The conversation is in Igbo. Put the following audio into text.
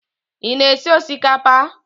Ị-na esi osikapa?